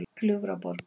Gljúfraborg